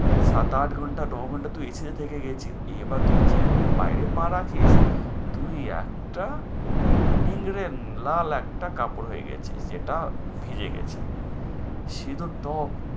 সাত আট ঘন্টা নয় ঘন্টা তুই AC থেকে এবার তুই যেমনি বাইরে পা রাখিস তুই একটা নিংড়ে লাল একটা কাপড় হয়ে গেছিস যেটা ভিজে গেছে তো।